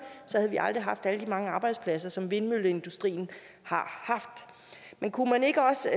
havde vi aldrig haft alle de mange arbejdspladser som vindmølleindustrien har haft men kunne man ikke også